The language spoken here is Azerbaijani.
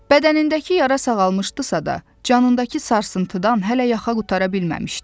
Bədənindəki yara sağalmışdısa da, canındakı sarsıntıdan hələ yaxa qutara bilməmişdi.